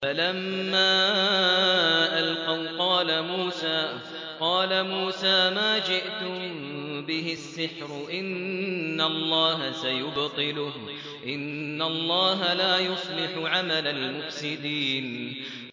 فَلَمَّا أَلْقَوْا قَالَ مُوسَىٰ مَا جِئْتُم بِهِ السِّحْرُ ۖ إِنَّ اللَّهَ سَيُبْطِلُهُ ۖ إِنَّ اللَّهَ لَا يُصْلِحُ عَمَلَ الْمُفْسِدِينَ